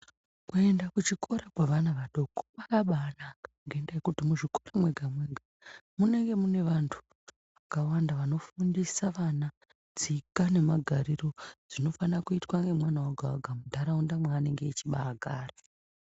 Kuenda kuchikora kwevana adoko kwakabanaka. Ngendaa yekuti muzvikora mwega-mwega munenge mune vantu vanofundisa vana tsika nemagariro zvinofana kuitwa nemwana oga-oga munharaunda maanenge achibagara.